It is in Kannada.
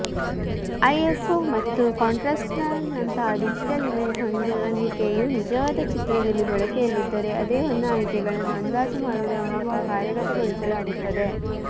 ಐಎಸ್ಒ ಮತ್ತು ಕಾಂಟ್ರಾಸ್ಟ್ನಂತಹ ಡಿಜಿಟಲ್ ಇಮೇಜ್ ಹೊಂದಾಣಿಕೆಯು ನಿಜವಾದ ಚಿತ್ರದಲ್ಲಿ ಬಳಕೆಯಲ್ಲಿದ್ದರೆ ಅದೇ ಹೊಂದಾಣಿಕೆಗಳನ್ನು ಅಂದಾಜು ಮಾಡುವುದರ ಮೂಲಕ ಕಾರ್ಯಗತಗೊಳಿಸಲಾಗುತ್ತದೆ